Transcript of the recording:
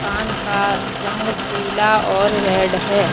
कान का रंग पीला और रेड है।